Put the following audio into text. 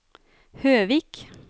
Høvik